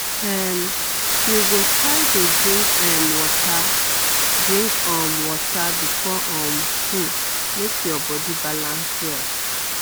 um you go try dey drink um water drink um water before um food make your body balance well